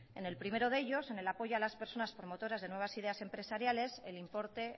en el primero de ellos en el apoyo a las personas promotoras de nuevas ideas empresariales el importe